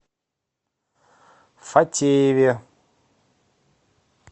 фатееве